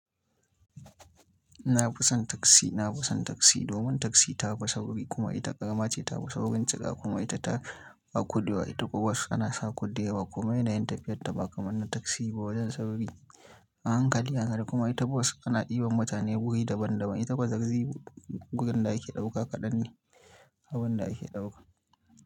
Na fi son taxi. Na fi son taxi domin taxi ta fi sauri kuma ita ƙarama ce. To ba saurin cika kuma ita ta a kuɗewa. Ita kuma bus ana sa kuɗi yawa kuma yanayin tafiyar ta ba kamar na taxi ba wajen sauri, a hankali, a kuma ita bus ana ɗiban mutane buhi daban daban. Ita fa taxi gurin da ake ɗauka kaɗan ne abin da ake ɗauka.